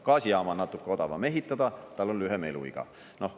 Gaasijaama on natuke odavam ehitada, tal on lühem eluiga.